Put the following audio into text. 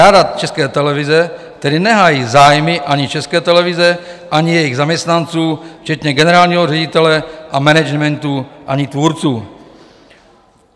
Rada České televize tedy nehájí zájmy ani České televize, ani jejích zaměstnanců včetně generálního ředitele a managementu, ani tvůrců.